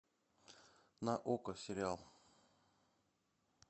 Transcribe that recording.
на окко сериал